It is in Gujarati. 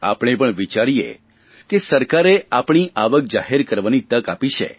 આપણે પણ વિચારીએ કે સરકારે અમારી આવક જાહેર કરવાની તક આપી છે